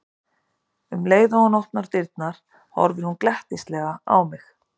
Um leið og hún opnaði dyrnar horfði hún glettnislega á mig.